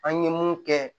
An ye mun kɛ